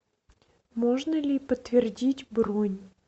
можно ли подтвердить бронь